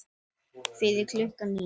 Fyrir klukkan níu.